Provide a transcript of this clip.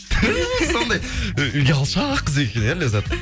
туф сондай і ұялшақ қыз екен иә ләззат